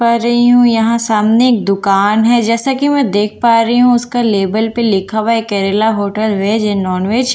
पा रही हूं यहां सामने एक दुकान है जैसा कि मैं देख पा रही हूं उसका लेबल पर लिखा हुआ है केरला होटल वेज या नॉनवेज रेस्टो--